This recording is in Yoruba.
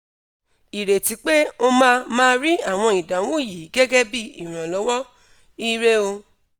ireti pe o ma ma ri awon idahun yi gegebi iranlowo! ire o